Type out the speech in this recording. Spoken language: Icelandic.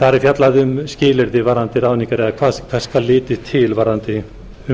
þar er fjallað um skilyrði varðandi ráðningar eða hvers skal litið til varðandi